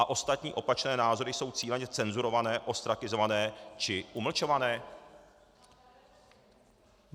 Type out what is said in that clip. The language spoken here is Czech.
A ostatní opačné názory jsou cíleně cenzurované, ostrakizované či umlčované?